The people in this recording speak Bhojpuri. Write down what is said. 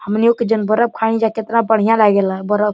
हमनियो के जन बर्फ खानी जा केतना बढ़िया लागे ला बर्फ।